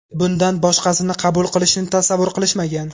Bundan boshqasini qabul qilishni tasavvur qilishmagan.